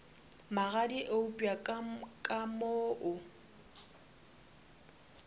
magadi eupša ka mo o